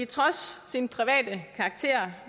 trods sin private karakter